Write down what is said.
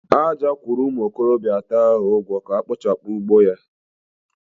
Aja ugwo umu okorobia ato ka ha kpochapu ugbo ya.